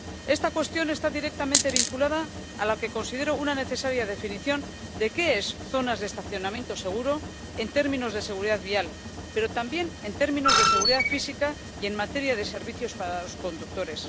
Esta cuestión está directamente vinculada a la que considero una necesaria definición de las zonas de estacionamiento seguro en términos de seguridad vial, pero también en términos de seguridad física y en materia de servicios para los conductores.